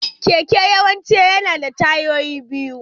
Keke yawanci yana da tayoyi biyu.